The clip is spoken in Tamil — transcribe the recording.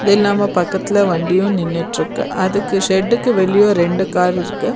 இல்லாம பக்கத்துல வண்டியு நின்னுட்ருக்கு அதுக்கு ஷெட்டுக்கு வெளியு ரெண்டு கார் இருக்கு.